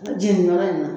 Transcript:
jɛnni yɔrɔ in na